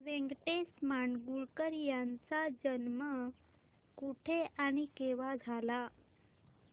व्यंकटेश माडगूळकर यांचा जन्म कुठे आणि केव्हा झाला